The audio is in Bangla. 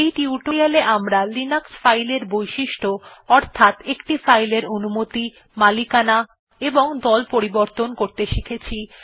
এই টিউটোরিয়াল এ আমরা লিনাক্স ফাইল বৈশিষ্ট্য অর্থাৎ একটি ফাইলের অনুমতি মালিকানা এবং দল পরিবর্তন করতে শিখেছি